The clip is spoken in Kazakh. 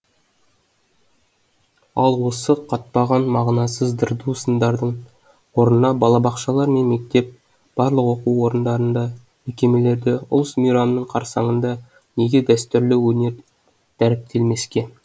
ал осы қаптаған мағынасыз дырду сындардың орнына балабақшалар мен мектеп барлық оқу орындарында мекемелерде ұлыс мейрамның қарсаңында неге дәстүрлі өнер дәріптелмеске